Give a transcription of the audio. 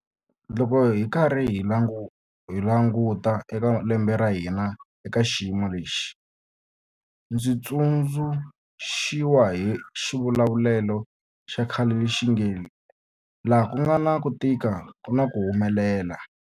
Loko hi karhi hi languta eka lembe ra hina eka xiyimo lexi, ndzi tsundzu xiwa hi xivulavulelo xa khale lexi nge 'laha ku nga na ku tika ku na ku humelela'.